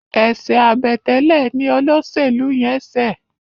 eṣe Àbẹ̀tẹ́lẹ̀ ní Olóṣèlú yén ṣe